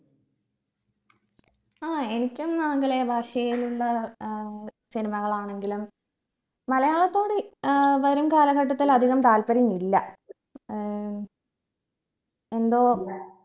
ആയ എനിക്കും ആംഗലേയ ഭാഷയിലുള്ള ഏർ cinema കളാണെങ്കിലും മലയാളത്തോട് ഏർ വരും കാലഘട്ടത്തിൽ അധികം താല്പര്യം ഇല്ല ഏർ എന്തോ